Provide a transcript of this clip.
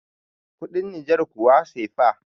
kudin niger kuwa cefa